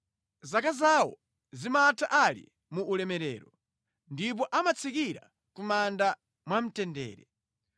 Zaka zawo zimatha ali mu ulemerero ndipo amatsikira ku manda mwamtendere.